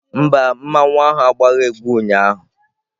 Mba, mmanwu ahu agbaghị egwu ụnyaahụ